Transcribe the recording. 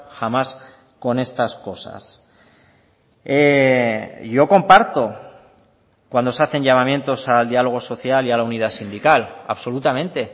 jamás con estas cosas yo comparto cuando se hacen llamamientos al diálogo social y a la unidad sindical absolutamente